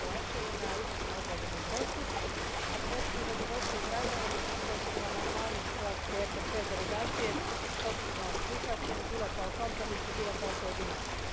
Kovačevu na izvrsno odrađenom poslu, a posebno zadovoljstvo izražavam što su amandmani hrvatske EPP delegacije potpuno prihvaćeni, bilo kao kompromisni, bilo kao pojedinačni.